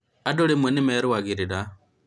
andũ rĩmwe nĩmerũagĩrĩra